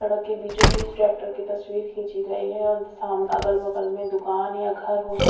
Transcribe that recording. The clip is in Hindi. सड़क के बीचों बीच ट्रैक्टर की तस्वीर खींची गई है और साम अगल बगल में दुकान या घर हो सक--